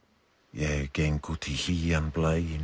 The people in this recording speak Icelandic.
ég geng út í hlýjan